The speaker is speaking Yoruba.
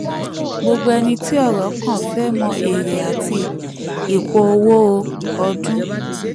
gbogbo ẹni tí ọ̀rọ̀ kàn fẹ́ mọ èrè àti ipò owó ipò owó ọdún.